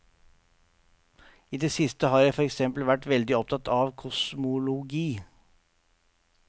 I det siste har jeg for eksempel vært veldig opptatt av kosmologi.